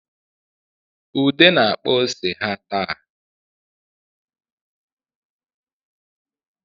Ude na-akpa ose ha taa